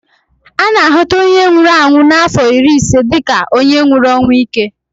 A na a hụta onye nwụrụ ọnwụ n'afọ iri ise dịka onye nwụrụ ọnwụ íke